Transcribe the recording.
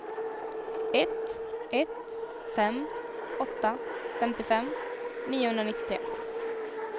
ett ett fem åtta femtiofem niohundranittiotre